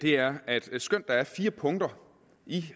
er at skønt der er fire punkter i